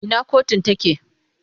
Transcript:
Ina kotun take?